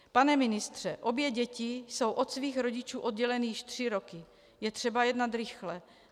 Pane ministře, obě děti jsou od svých rodičů odděleny již tři roky, je třeba jednat rychle.